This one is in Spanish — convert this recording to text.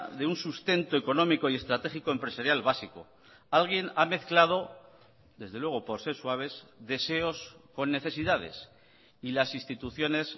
de un sustento económico y estratégico empresarial básico alguien ha mezclado desde luego por ser suaves deseos con necesidades y las instituciones